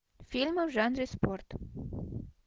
фильмы в жанре спорт